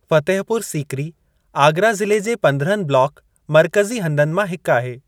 फतेहपुर सीकरी आगरा ज़िले जे पंद्रहनि ब्लॉक मरक़ज़ी हंधनि मां हिकु आहे ।